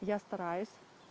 я стараюсь